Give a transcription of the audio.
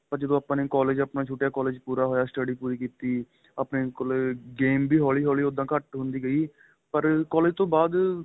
ਪਰ ਜਦੋ ਆਪਾਂ collage ਆਪਣਾ ਛੁਟਿਆ collage ਪੂਰਾ ਹੋਇਆ study ਪੂਰੀ ਕੀਤੀ ਆਪਣੇਂ ਕੋਲ game ਵੀ ਉਹਦੋ ਹੋਲੀ ਹੋਲੀ ਘੱਟ ਹੁੰਦੀ ਗਈ ਪਰ collage ਤੋ ਬਾਅਦ